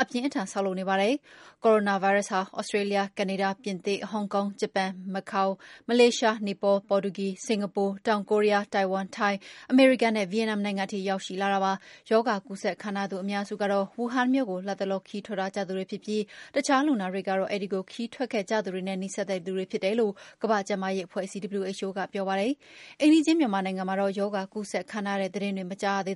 အပြင်းအထန် ဆောက်လုပ်နေကြပါတယ်။ Coranavirus ဟာ Australia, Canada, ပြင်သစ်, Hong Kong, Japan, Macao, Malaysia, Nepal, Portugal, Singapore, တောင် Korea, Taiwan, ထိုင်း၊ အမေရိကန်နဲ့ Vietnam နိုင်ငံထိရောက်ရှိလာတာဖြစ်ပါတယ်။ ရောဂါကူးစက်ခံထားရသူအများစုကတော့ ဝူဟန်မြို့ကို လတ်တလော ခရီးထွက်ထားကြသူတွေဖြစ်ပြီး အခြာလူနာတွေကတော့ အဲဒီကိုခရီးထွက်ခဲ့ကြသူတွေနဲ့ နီးစပ်တဲ့လူတွေဖြစ်တယ်လို့ ကမ္ဘာ့ကျန်းမာရေးအဖွဲ့အစည်း WHO ကပြောပါတယ်။ အိမ်နီးချင်းမြန်မာနိုင်ငံမှာတော့ ရောဂါကူးစက်ခံထားရတဲ့ သတင်းမကြားရသေး